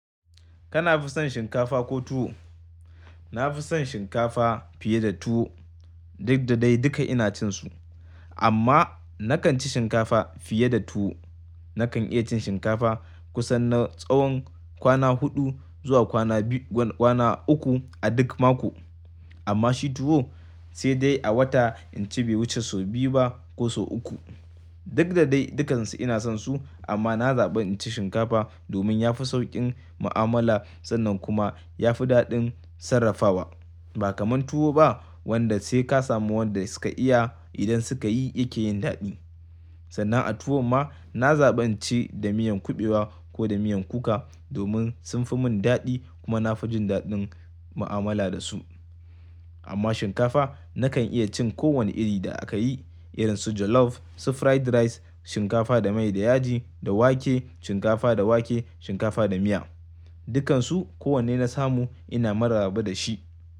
Kana fi son shinkafa ko tuwo? Na fi son shinkafa fiye da tuwo. Duk da dai duka ina cin su amma na kan ci shinkafa fiye da tuwo. Na kan iya cin shinkafa kusan na tsawon kwana huɗu zuwa kwana biyu, kwana uku a duk mako. Amma shi tuwo sai dai a wata inci bai wuce sau biyu ba ko sau uku. Duk da dai dukansu ina son su amma na zaɓi inci shinkafa domin ya fi sauƙin mu'amala sannan kuma ya fi daɗin sarrafawa. Ba kamar tuwo ba wanda sai ka samu waɗanda suka iya idan suka yi yake yin daɗi. Sannan a tuwo ma na zaɓin ci da miyan kuɓewa ko da miyan kuka domin sun fi mun daɗi kuma na fi jin daɗin mu'amala da su. Amma shinkafa na kan iya cin kowane iri da aka yi irin su jollof, su fried rice, shinkafa da mai da yaji, da wake, shinkafa da wake, shinkafa da miya. Dukansu kowanne na samu ina maraba da shi.